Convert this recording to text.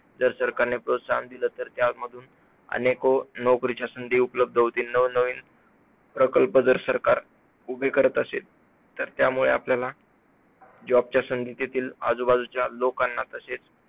जर सरकारने प्रोत्साहन दिलं तर त्यामधून अनेको नोकरीच्या संधी उपलब्ध होतील, नवीन नवीन प्रकल्प जर सरकार उभे करत असेल, तर त्यामुळे आपल्याला job च्या संधी देतील, आजूबाजूच्या लोकांना तसेच